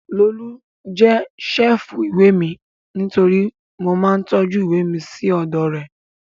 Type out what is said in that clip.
Lolú jẹ́ ṣẹ́ẹ̀fù ìwé mi nítorí mo máa ń tọ́jú ìwé mi sí ọ̀dọ̀ rẹ̀